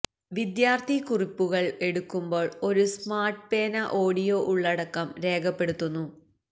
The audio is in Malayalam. വിദ്യാർത്ഥി കുറിപ്പുകൾ എടുക്കുമ്പോൾ ഒരു സ്മാർട്ട് പേന ഓഡിയോ ഉള്ളടക്കം രേഖപ്പെടുത്തുന്നു